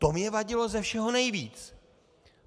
To mně vadilo ze všeho nejvíc.